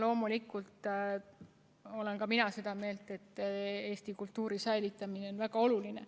Loomulikult olen ka mina seda meelt, et Eesti kultuuri säilitamine on väga oluline.